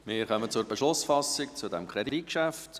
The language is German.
Wir kommen zur Beschlussfassung über dieses Kreditgeschäft